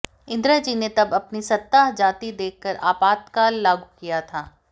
इन्दिरा जी ने तब अपनी सत्ता जाती देखकर आपातकाल लागू किया था